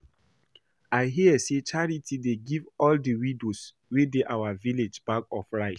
I hear say Charity dey give all the widows wey dey our village bag of rice